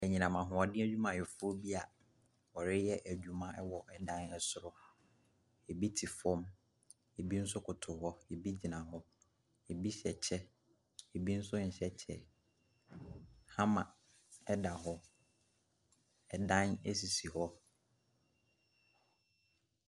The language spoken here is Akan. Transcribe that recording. Anyinam ahoɔden adwumayɛfoɔ bi a wɔreyɛ adwuma wɔ ɛdan soro. Ɛbi te fam, ɛbi nso koto hɔ, abi gyina hɔ. Ɛbi hyɛ kyɛ, ɛbi nso nhyɛ kyɛ. Hammar da hɔ. Adan sisi hɔ.